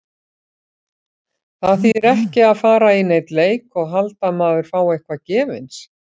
Það þýðir ekki að fara í neinn leik og halda að maður fái eitthvað gefins.